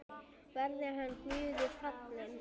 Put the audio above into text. Verði hann Guði falinn.